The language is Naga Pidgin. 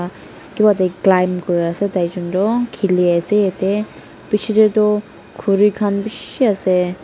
Kiva tae climb kuri asa taijon toh kheli ase ete pichey tae toh khuri khan bishi ase.